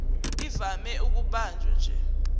ivame ukubanjwa nje